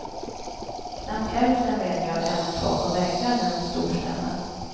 Knappt hälften rengör även tak och väggar när de storstädar.